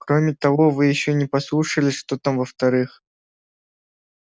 кроме того вы ещё не послушали что там во-вторых